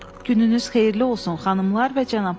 Gününüz xeyirli olsun, xanımlar və cənablar.